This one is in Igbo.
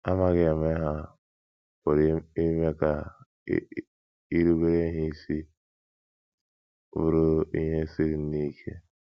Amaghị eme ha pụrụ ime ka irubere ha isi bụrụ ihe siri nnọọ ike.